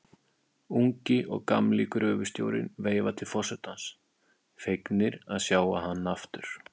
Ungi og gamli gröfustjórinn veifa til forsetans, fegnir að sjá hann aftur.